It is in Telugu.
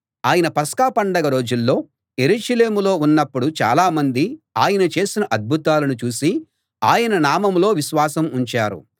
ఆయన పస్కా పండగ రోజుల్లో యెరూషలేములో ఉన్నప్పుడు చాలామంది ఆయన చేసిన అద్భుతాలను చూసి ఆయన నామంలో విశ్వాసం ఉంచారు